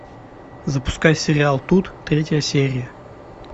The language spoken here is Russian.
запускай сериал тут третья серия